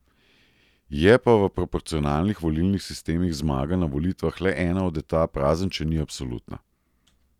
Je pa v proporcionalnih volilnih sistemih zmaga na volitvah le ena od etap, razen če ni absolutna.